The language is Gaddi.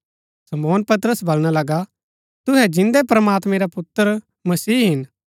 शमौन पतरस बलणा लगा तुहै जिन्दै प्रमात्मैं रा पुत्र मसीह हिन